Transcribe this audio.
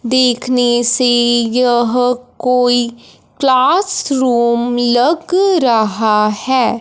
देखने से यह कोई क्लास रूम लग रहा है।